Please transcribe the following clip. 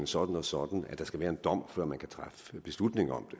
sådan og sådan at der skal være en dom før man kan træffe beslutning om